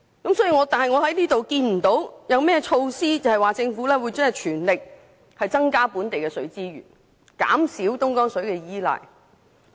不過，我看不到政府有任何措施，全力增加本地的水資源，減少對東江水的依賴。